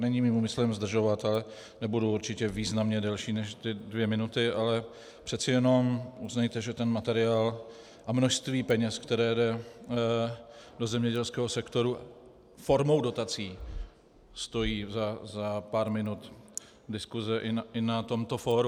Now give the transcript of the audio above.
Není mým úmyslem zdržovat, ale nebudu určitě významně delší než ty dvě minuty, ale přece jenom uznejte, že ten materiál a množství peněz, které jde do zemědělského sektoru formou dotací, stojí za pár minut diskuse i na tomto fóru.